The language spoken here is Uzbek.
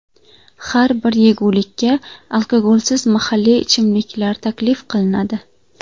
Har bir yegulikka alkogolsiz mahalliy ichimlik taklif qilinadi.